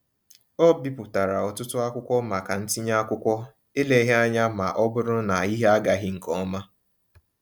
Ọ bipụtara ọtụtụ akwụkwọ maka ntinye akwụkwọ eleghị anya maọbụrụ na ihe agaghị nkeọma.